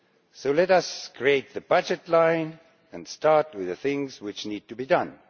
So let us create the budget line and start with the things which need to be done.